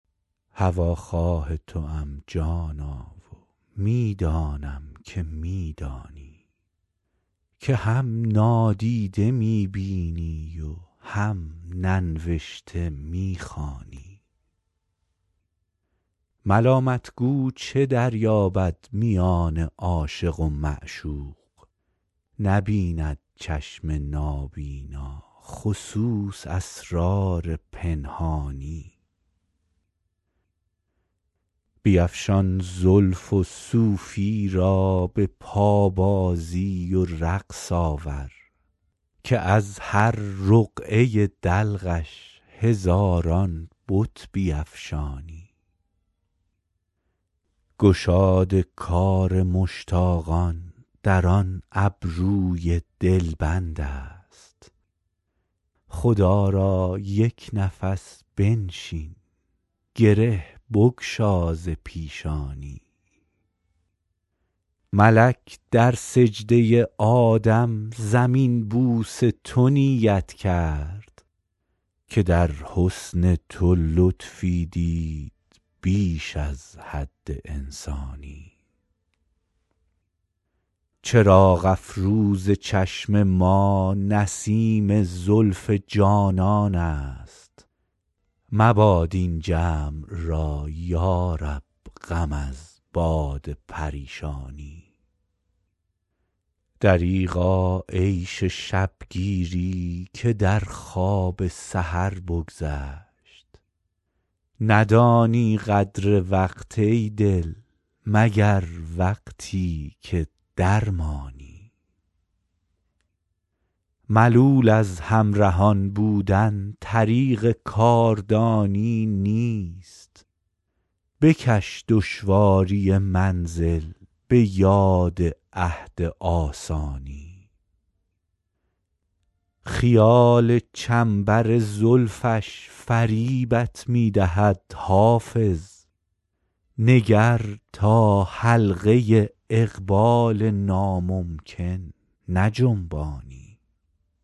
هواخواه توام جانا و می دانم که می دانی که هم نادیده می بینی و هم ننوشته می خوانی ملامت گو چه دریابد میان عاشق و معشوق نبیند چشم نابینا خصوص اسرار پنهانی بیفشان زلف و صوفی را به پابازی و رقص آور که از هر رقعه دلقش هزاران بت بیفشانی گشاد کار مشتاقان در آن ابروی دلبند است خدا را یک نفس بنشین گره بگشا ز پیشانی ملک در سجده آدم زمین بوس تو نیت کرد که در حسن تو لطفی دید بیش از حد انسانی چراغ افروز چشم ما نسیم زلف جانان است مباد این جمع را یا رب غم از باد پریشانی دریغا عیش شب گیری که در خواب سحر بگذشت ندانی قدر وقت ای دل مگر وقتی که درمانی ملول از همرهان بودن طریق کاردانی نیست بکش دشواری منزل به یاد عهد آسانی خیال چنبر زلفش فریبت می دهد حافظ نگر تا حلقه اقبال ناممکن نجنبانی